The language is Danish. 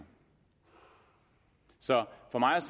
så